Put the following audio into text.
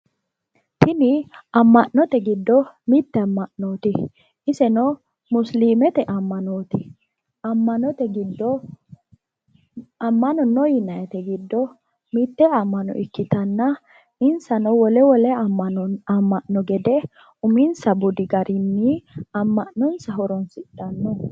Tini amma’note giddo mitte amma’nooti. Iseno musiliimete ammanooti. Ammanote giddo ammano no yinayiite giddo mitte ammano ikitanna insano wole wole amma’no gede uminsa budi garinni amma’nonsa horonsidhanno.